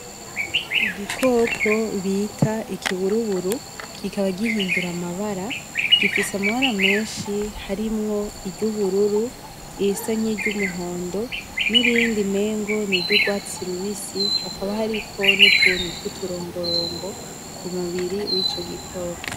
Igikoko bita ikiburuburu kikaba gihindura amabara, gifise amabara menshi harimwo iry’ubururu, n’irindi umengo n’iryugwatsi rubisi hakaba hariko n’utuntu tw’uturongorongo ku mubiri w’ico gikoko.